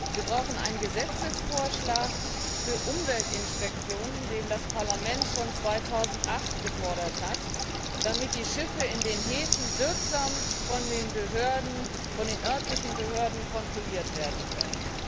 Wir brauchen einen Gesetzesvorschlag für Umweltinspektionen, den das Parlament schon 2008 gefordert hat, damit die Schiffe in den Häfen wirksam von den örtlichen Behörden kontrolliert werden können.